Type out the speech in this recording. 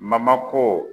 ko